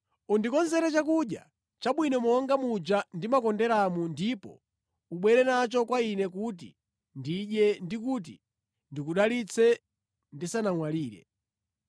Undikonzere chakudya chabwino monga muja ndimakonderamu ndipo ubwere nacho kwa ine kuti ndidye ndi kuti ndikudalitse ndisanamwalire.”